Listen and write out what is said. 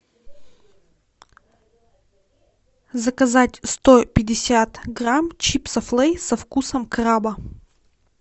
заказать сто пятьдесят грамм чипсов лейс со вкусом краба